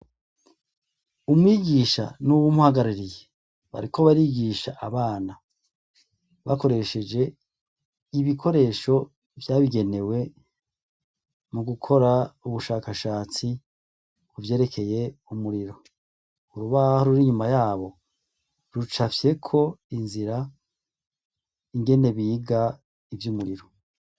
Umwigisha n'uwumhagaririye bariko barigisha abana bakoresheje ibikoresho vyabigenewe mu gukora ubushakashatsi buvyerekeye umuriro urubaho ruri inyuma yabo rucafyeko inzira ingene biga ivyo umuriro.